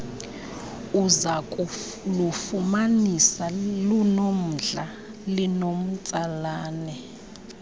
uzakulufumanisa lunomdla linomtsalane